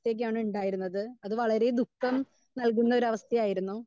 Speaker 2 യൊക്കെയാണ് ഉണ്ടായിരുന്നത്. അത് വളരെ ദുഃഖം നൽകുന്ന ഒരവസ്ഥയായിരുന്നു.